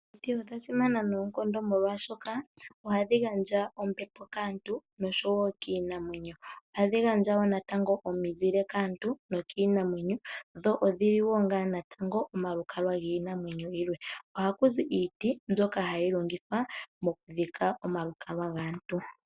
Omiti odha simana noonkondo oshoka dhi gandja ombepo kaantu noshowo kiinamwenyo. Ohadhi gandja wo natango omizile kaantu nokiinamwenyo. Dho odhi li wo natango omalukalwa giinamwenyo yilwe. Oha ku zi iiti mbyoka hayi longithwa mokudhika omalukalwa gaantu.